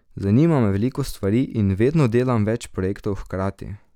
Zanima me veliko stvari in vedno delam več projektov hkrati.